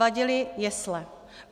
Vadily jesle.